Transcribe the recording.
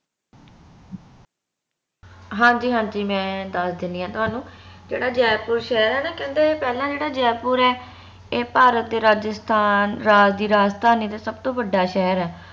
ਹਾਂਜੀਂ ਹਾਂਜੀ ਮੈਂ ਦੱਸ ਦਿਨੀਂ ਆ ਤੁਹਾਨੂੰ ਜਿਹੜਾ ਜੈਪੁਰ ਸ਼ਹਰ ਹੈ ਨਾ ਕਹਿੰਦੇ ਪਹਿਲਾ ਜਿਹੜਾ ਜੈਪੁਰ ਹੈ ਏ ਭਾਰਤ ਦੇ ਰਾਜਸਥਾਨ ਰਾਜ ਦੀ ਰਾਜਧਾਨੀ ਦਾ ਸਬਤੋ ਵੱਡਾ ਸ਼ਹਿਰ ਹੈ